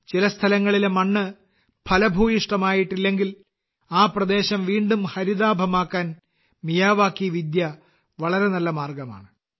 ചില സ്ഥലങ്ങളിലെ മണ്ണ് ഫലഭൂയിഷ്ഠമായിട്ടില്ലെങ്കിൽ ആ പ്രദേശം വീണ്ടും ഹരിതാഭമാക്കാൻ മിയാവാക്കി വിദ്യ വളരെ നല്ല മാർഗമാണ്